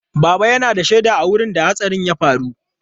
Baba yana da shaida a wurin da hatsarin ya faru.